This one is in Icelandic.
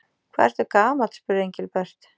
Hvað ertu gamall? spurði Engilbert.